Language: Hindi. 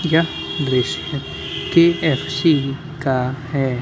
यह दृश्य के.एफ.सी. का है।